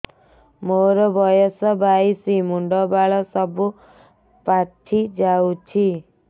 ମୋର ବୟସ ବାଇଶି ମୁଣ୍ଡ ବାଳ ସବୁ ପାଛି ଯାଉଛି